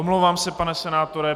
Omlouvám se, pane senátore.